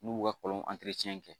N'u b'u ka kɔlɔn kɛ